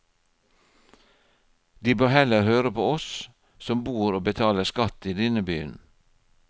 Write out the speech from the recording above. De bør heller høre på oss som bor og betaler skatt i denne byen.